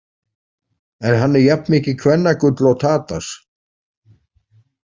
Er hann jafn mikið kvennagull og Tadas?